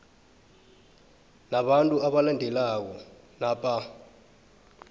nabantu abalandelako napa